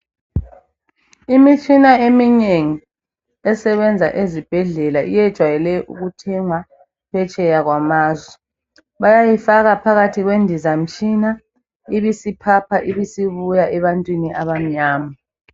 Imitshina eminengi esebenza ezibhedlela iyejwayele ukuthengwa phetsheya kwamazwe . Bayayifaka phakathi kwendizamtshina ibisiphapha ibisibuya ebantwini abamnyama.